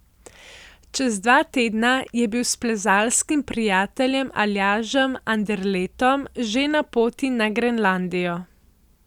Čez dva tedna je bil s plezalskim prijateljem Aljažem Anderletom že na poti na Grenlandijo.